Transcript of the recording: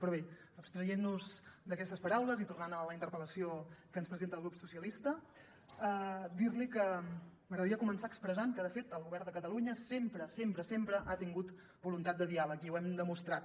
però bé abstraient nos d’aquestes paraules i tornant a la interpel·lació que ens presenta el grup socialistes dir li que m’agradaria començar expressant que de fet el govern de catalunya sempre sempre sempre ha tingut voluntat de diàleg i ho hem demostrat